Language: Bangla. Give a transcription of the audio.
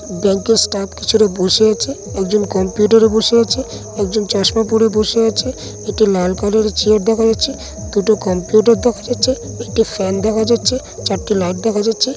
ব্যাংকের স্টাফ পিছনে বসে আছে একজন কম্পিউটার -এ বসে আছে একজন চশমা পরে বসে আছে একটা লাল কালের চেয়ার দেখা যাচ্ছে দুটো কম্পিউটার দেখা যাচ্ছে একটি ফ্যান দেখা যাচ্ছে চারটে লাইট দেখা যাচ্ছে।